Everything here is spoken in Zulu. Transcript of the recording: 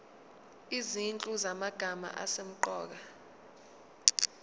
izinhlu zamagama asemqoka